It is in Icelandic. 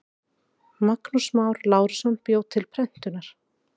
Magnús Már Lárusson bjó til prentunar.